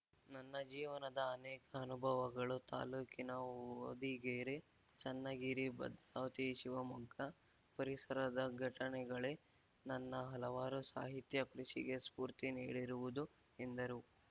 ನನ್ನ ಜೀವನದ ಅನೇಕ ಅನುಭವಗಳು ತಾಲೂಕಿನ ಹೊದಿಗೆರೆ ಚನ್ನಗಿರಿ ಭದ್ರಾವತಿ ಶಿವಮೊಗ್ಗ ಪರಿಸರದ ಘಟನೆಗಳೇ ನನ್ನ ಹಲವಾರು ಸಾಹಿತ್ಯ ಕೃಷಿಗೆ ಸ್ಫೂರ್ತಿ ನೀಡಿರುವುದು ಎಂದರು